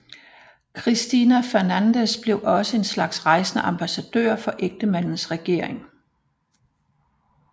Cristina Fernández blev også en slags rejsende ambassadør for ægtemandens regering